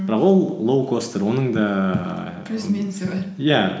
бірақ ол лоукостер оның да ііі плюс минусы бар иә